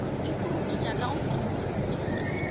e puruputša ka go puruputša